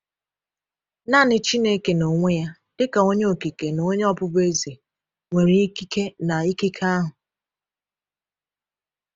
Naanị Chineke n’onwe Ya, dị ka Onye Okike na Onye Ọbụbụeze, nwere ikike na ikike ahụ.